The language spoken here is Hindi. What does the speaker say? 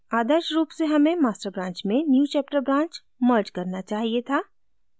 आदर्श रूप से हमें master branch में newchapter branch merged करना चाहिए था